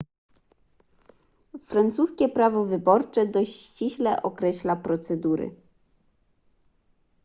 francuskie prawo wyborcze dość ściśle określa procedury